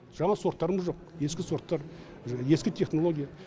жаңа сорттарымыз жоқ ескі сорттар ескі технология